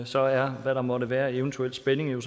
så er hvad der måtte være af eventuel spænding jo